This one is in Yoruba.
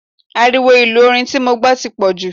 Ariwo ìlú orin tí mo gbọ́ ti pọ̀ jù.